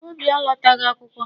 Obi alọtaghị akwụkwọ.